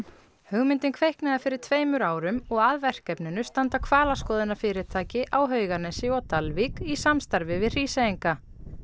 hugmyndin kviknaði fyrir tveimur árum og að verkefninu standa hvalaskoðunarfyrirtæki á Hauganesi og Dalvík í samstarfi við Hríseyinga